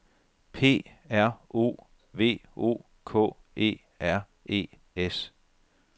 P R O V O K E R E S